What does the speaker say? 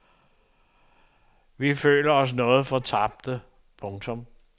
Vi føler os noget fortabte. punktum